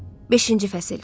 Beşinci fəsil.